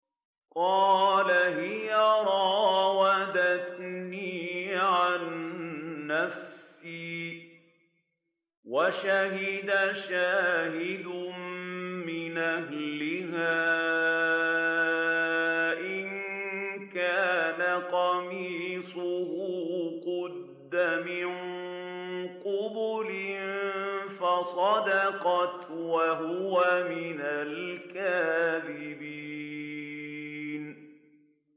قَالَ هِيَ رَاوَدَتْنِي عَن نَّفْسِي ۚ وَشَهِدَ شَاهِدٌ مِّنْ أَهْلِهَا إِن كَانَ قَمِيصُهُ قُدَّ مِن قُبُلٍ فَصَدَقَتْ وَهُوَ مِنَ الْكَاذِبِينَ